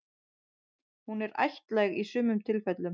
Hún er ættlæg í sumum tilfellum.